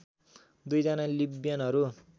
दुईजना लिब्यनहरु